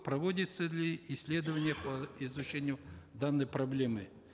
проводятся ли исследования по изучению данной проблемы